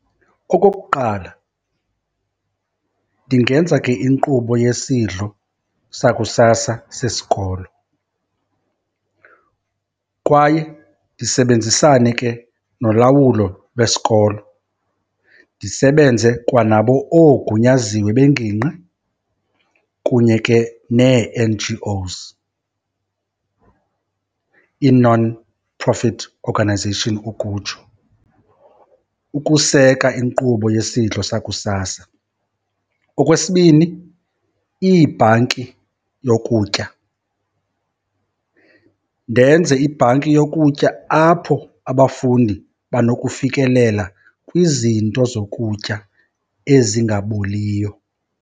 Okokuqala, ndingenza ke inkqubo yesidlo sakusasa sesikolo kwaye ndisebenzisane ke nolawulo lwesikolo, ndisebenze kwanabo oogunyaziwe bengingqi kunye ke nee-N_G_Os, ii-nonprofit organization ukutsho ukuseka inkqubo yesidlo sakusasa. Okwesibini, iibhanki yokutya. Ndenze ibhanki yokutya apho abafundi banokufikelela kwizinto zokutya ezingaboliyo.